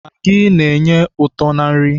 Magị na-enye ụtọ na nri.